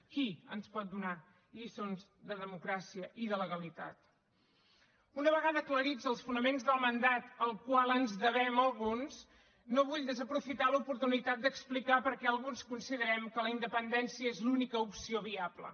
qui ens pot donar lliçons de democràcia i de legalitat una vegada aclarits els fonaments del mandat al qual ens devem alguns no vull desaprofitar l’oportunitat d’explicar per què alguns considerem que la independència és l’única opció viable